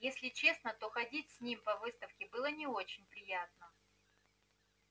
если честно то ходить с ним по выставке было не очень приятно